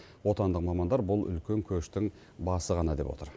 отандық мамандар бұл үлкен көштің басы ғана деп отыр